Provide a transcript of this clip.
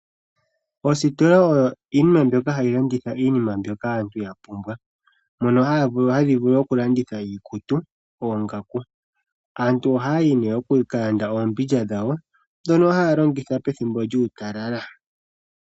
Oositola odho omahala ngoka haga landitha iinima mbyoka aantu yapumbwa. Ohadhi landitha iikutu, oongaku. Aantu ohaya yi nee ya ka lande oombindja dhawo ndhono haya longitha pethimbo lyuutalala.